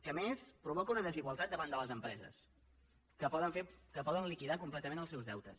que a més provoca una desigualtat davant de les empreses que poden liquidar completament els seus deutes